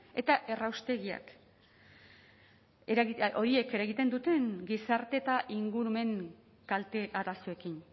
eta erraustegiak horiek eragiten duten gizarte eta ingurumen kalte arazoekin